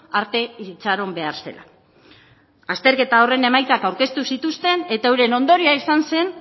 arte itxaron behar zela azterketa horren emaitzak aurkeztu zituzten eta euren ondorioa izan zen